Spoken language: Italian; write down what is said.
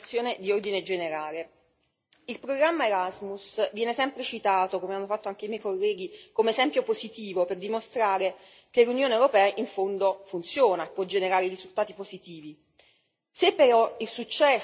Vorrei chiudere il mio intervento con una riflessione di ordine generale il programma Erasmus viene sempre citato come hanno fatto anche i miei colleghi come esempio positivo per dimostrare che l'Unione europea in fondo funziona e può generare risultati positivi.